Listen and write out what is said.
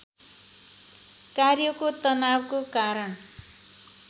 कार्यको तनावको कारण